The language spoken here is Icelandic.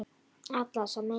Allar sem ein.